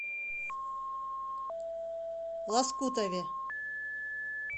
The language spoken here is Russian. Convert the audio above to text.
лоскутове